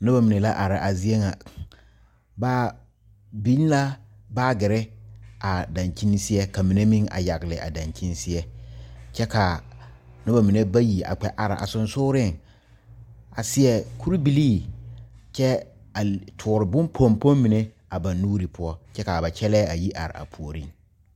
Nobɔ mene la are a zie ŋa. Ba biŋ la baagireba dankyen seɛ ka mene meŋ a yagle a dankyen seɛ. Kyɛ ka a nobɔ mene bayi a kpɛ are a susugreŋ a seɛ kure bilii. kyɛ a li a tuure pompom mene a ba nuure poʊ. Kyɛ ka ba kyɛlɛ a yi are a pooreŋ.